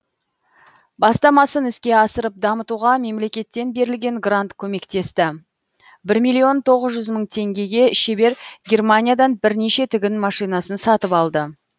бастамасын іске асырып дамытуға мемлекеттен берілген грант көмектесті бір миллион тоғыз жүз мың теңгеге шебер германиядан бірнеше тігін машинасын сатып алды